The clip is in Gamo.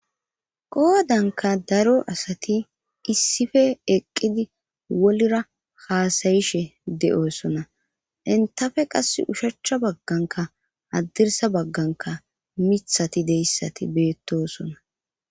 Qoodanka daro asati issife eqqidi wolra haasayishe de'oosona intafe qas ushachcha bagganka addirsa bagganka mithati deyssati beettosona.